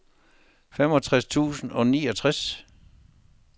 femogtres tusind og niogtres